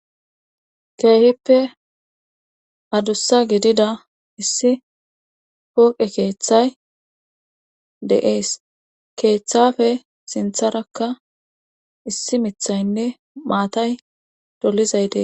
keehippe adussa gidida issi pooqe keeththay de7ees. keeththafe sintharakka issi mithaynne maatay dolizayte detes.